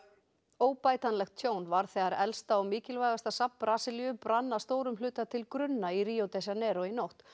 óbætanlegt tjón varð þegar elsta og mikilvægasta safn Brasilíu brann að stórum hluta til grunna í Ríó de Janeiro í nótt